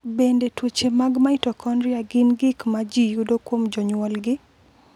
Bende tuoche mag mitokondria gin gik ma ji yudo kuom jonyuolgi?